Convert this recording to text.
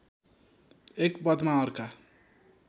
एक पदमा अर्का